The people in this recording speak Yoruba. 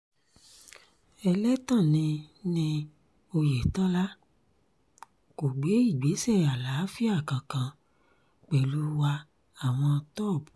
ẹlẹ́tàn ni ni ọ̀yẹ̀tọ́lá kò gbé ìgbésẹ̀ àlàáfíà kankan pẹ̀lú wa àwọn tọ́p